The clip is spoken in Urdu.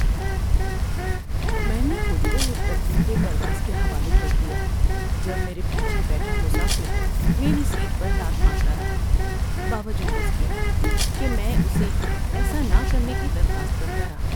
میں نے خود کو ایک تکلیف دہ پرواز کے حوالے کر دیا جب میرے پیچھے بیٹھا مسافر میری سیٹ پر لات مارتا رہا باوجود اس کے کہ میں اسے ایسا نہ کرنے کی درخواست کرتا رہا۔